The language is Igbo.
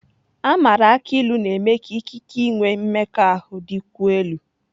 A maara akụ ilu na-eme ka ikike inwe mmekọahụ dịkwuo elu.